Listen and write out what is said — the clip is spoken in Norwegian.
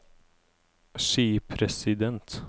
skipresident